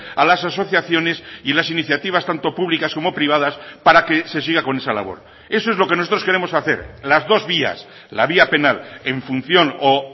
a las asociaciones y las iniciativas tanto públicas como privadas para que se siga con esa labor eso es lo que nosotros queremos hacer las dos vías la vía penal en función o